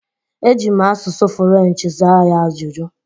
Ejim asụsụ fụlenchi zaa ya ajụjụ.